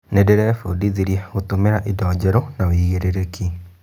Ndĩrebundithirie gũtũmĩra indo njerũ na wĩigĩrĩrĩki.